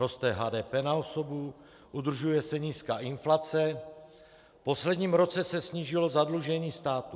Roste HDP na osobu, udržuje se nízká inflace, v posledním roce se snížilo zadlužení státu.